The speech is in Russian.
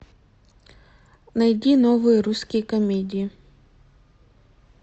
найди новые русские комедии